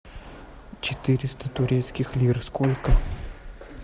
четыреста турецких лир сколько